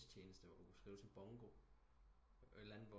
Tjeneste hvor du kunne skrive til Bongo et eller andet